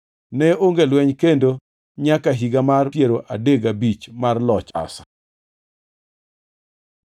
Ne onge lweny kendo nyaka higa mar piero adek gabich mar loch Asa.